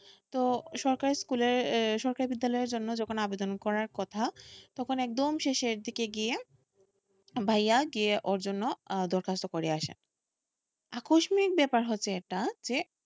তো সরকারি স্কুলে সরকারি বিদ্যালয়ের জন্য যখন আবেদন করার কথা তখন একদম শেষের দিকে গিয়ে ভাইয়া গিয়ে ওর জন্য দরখাস্ত করে আসে আকস্কিমিক ব্যাপার হয়েছে এটা যে,